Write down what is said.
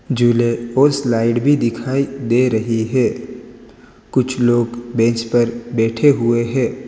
झूले और स्लाइड भी दिखाई दे रही है। कुछ लोग बेंच पर बैठे हुए हैं।